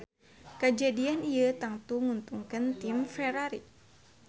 Kajadian ieu tangtu nguntungkeun tim Ferrari